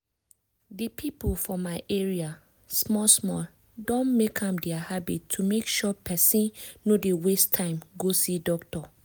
di people for my area small small don make am their habit to make sure pesin no dey waste time go see doctor.